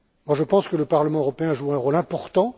Je pense que le Parlement européen joue un rôle important.